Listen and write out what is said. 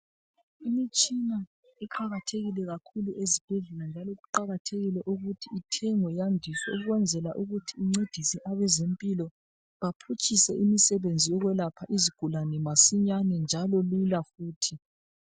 Imitshina iqakathekile kakhulu esibhedlela njalo kuqakathekile ukuthi ithengwe yandiswe ukwenzele ukuthi incedise abezempilo baphutshise imisebenzi yokwelapha izigulane masinyane njalo lula futhi .